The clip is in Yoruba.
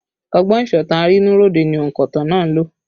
Ọgbọ́n ìsọ̀tàn arínúróde ni onkotan náà lò